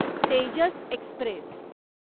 Tejas Express